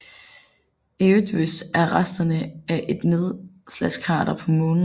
Eötvös er resterne af et nedslagskrater på Månen